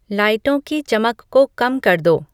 लाइटों की चमक को कम कर दो